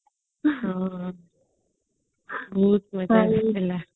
ହଁ ବହୁତ ମଜା ଆସିଥିଲା